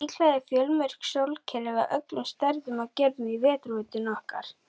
Líklega eru fjölmörg sólkerfi af öllum stærðum og gerðum í Vetrarbrautinni okkar.